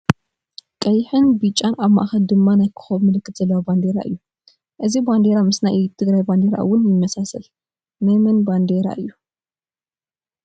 ቀይሕ ፣ቢጫን ኣብ ማእከል ድማ ናይ ኮኮብ ምልክት ዘለዎ ባንዲራ እዩ። እዚ ባንዴራ ምስ ናይ ትግራይ ባንዴራ እውን ይማሳሰል ።ናይ መን ባብደሬ እዩ?